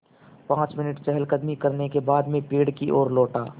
पाँच मिनट चहलकदमी करने के बाद मैं पेड़ की ओर लौटा